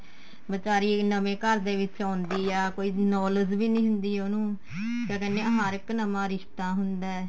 ਬੀਚਾਰੀ ਨਵੇ ਘਰ ਦੇ ਵਿੱਚ ਆਉਂਦੀ ਏ ਕੋਈ knowledge ਵੀ ਨੀ ਹੁੰਦੀ ਉਹਨੂੰ ਕਿਆ ਕਹਿੰਦੇ ਏ ਹਰ ਇੱਕ ਨਵਾ ਰਿਸ਼ਤਾ ਹੁੰਦਾ